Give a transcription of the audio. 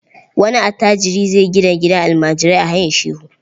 Wani attajiri zai gina gidan almajirai a Hayin Shehu.